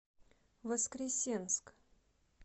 воскресенск